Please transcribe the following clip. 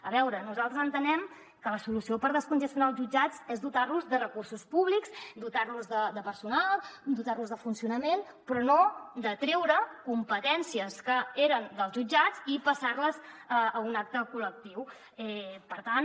a veure nosaltres entenem que la solució per descongestionar els jutjats és dotar los de recursos públics dotar los de personal dotar los de funcionament però no treure competències que eren dels jutjats i passar les a un altre col·lectiu per tant